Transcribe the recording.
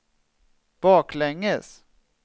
baklänges